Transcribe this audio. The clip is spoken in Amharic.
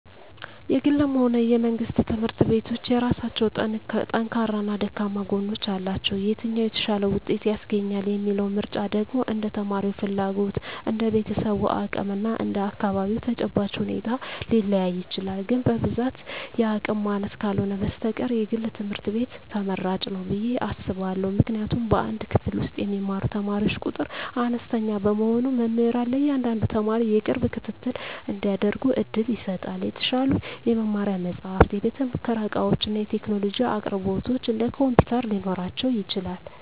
የግልም ሆነ የመንግሥት ትምህርት ቤቶች የየራሳቸው ጠንካራና ደካማ ጎኖች አሏቸው። የትኛው "የተሻለ ውጤት" ያስገኛል የሚለው ምርጫ ደግሞ እንደ ተማሪው ፍላጎት፣ እንደ ቤተሰቡ አቅም እና እንደ አካባቢው ተጨባጭ ሁኔታ ሊለያይ ይችላል። ግን በብዛት የአቅም ማነስ ካልህነ በስተቀር የግል ትምህርት ቤት ትመራጭ ንው ብየ አስባእሁ። ምክንያቱም በአንድ ክፍል ውስጥ የሚማሩ ተማሪዎች ቁጥር አነስተኛ በመሆኑ መምህራን ለእያንዳንዱ ተማሪ የቅርብ ክትትል እንዲያደርጉ ዕድል ይሰጣል። የተሻሉ የመማሪያ መጻሕፍት፣ የቤተ-ሙከራ ዕቃዎችና የቴክኖሎጂ አቅርቦቶች (እንደ ኮምፒውተር) ሊኖራቸው ይችላል።